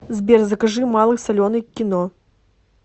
сбер закажи малый соленый к кино